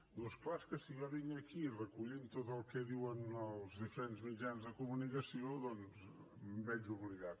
diu és clar és que si jo vinc aquí recollint tot el que diuen els diferents mitjans de comunicació doncs em veig obligat